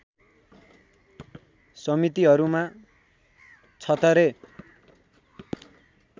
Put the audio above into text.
समितिहरूमा छत्थरे